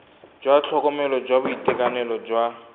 jwa tlhokomelo jwa boitekanelo jwa